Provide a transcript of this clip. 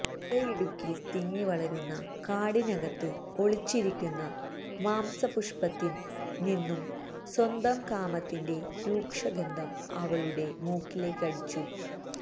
തുടയിടുക്കിൽ തിങ്ങി വളരുന്ന കാടിനകത്ത് ഒളിച്ചിരിക്കുന്ന മാംസപുഷ്പത്തിൽ നിന്നും സ്വന്തം കാമത്തിൻറെ രൂകഷഗന്ധം അവളുടെ മൂക്കിലേക്കടിച്ചു